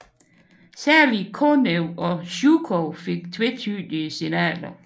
Særligt Konev og Zjukov fik tvetydige signaler